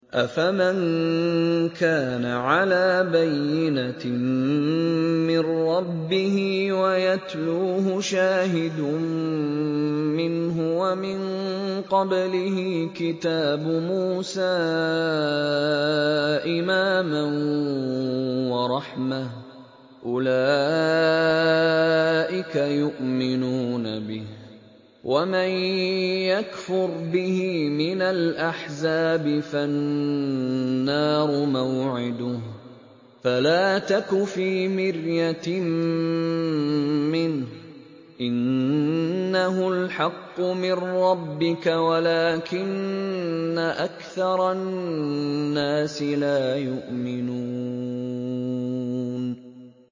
أَفَمَن كَانَ عَلَىٰ بَيِّنَةٍ مِّن رَّبِّهِ وَيَتْلُوهُ شَاهِدٌ مِّنْهُ وَمِن قَبْلِهِ كِتَابُ مُوسَىٰ إِمَامًا وَرَحْمَةً ۚ أُولَٰئِكَ يُؤْمِنُونَ بِهِ ۚ وَمَن يَكْفُرْ بِهِ مِنَ الْأَحْزَابِ فَالنَّارُ مَوْعِدُهُ ۚ فَلَا تَكُ فِي مِرْيَةٍ مِّنْهُ ۚ إِنَّهُ الْحَقُّ مِن رَّبِّكَ وَلَٰكِنَّ أَكْثَرَ النَّاسِ لَا يُؤْمِنُونَ